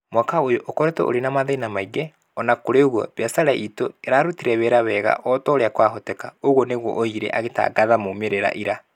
Mwaka ũyũ ũkoretwo ũrĩ na mathĩĩna maingĩ. O na kũrĩ ũguo, biacara itũ nĩ ĩrarutire wĩra wega o ta ũrĩa kwahoteka". ũguo nĩguo oigire agĩtangatha moimĩrĩro ira.